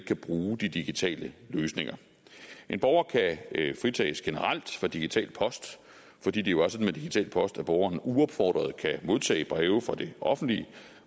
kan bruge de digitale løsninger en borger kan fritages generelt fra digital post fordi det jo er sådan med digital post at borgeren uopfordret kan modtage breve fra det offentlige